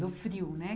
Do frio, né?